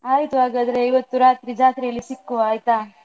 ಆಯ್ತು ಹಾಗಾದ್ರೆ ಇವತ್ತು ರಾತ್ರಿ ಜಾತ್ರೆಯಲ್ಲಿ ಸಿಕ್ಕುವ ಆಯ್ತಾ.